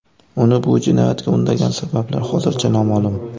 Uni bu jinoyatga undagan sabablar hozircha noma’lum.